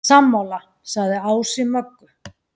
Sammála, sagði Ási Möggu.